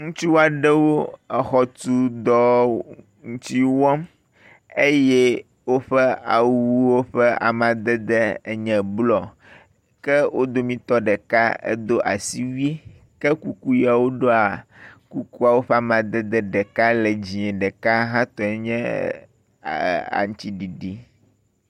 Ŋutsu aɖewo exɔ tu dɔ ŋuti wɔm eye woƒe awuwo ƒe amadede enye blɔ. Ke wo dometɔ ɖeka do asiwui ke kuku yea woɖɔa, kukuawo ƒe amadede ɖeka le dzĩ, ɖeka hã tɔe nye aŋtsiɖiɖi.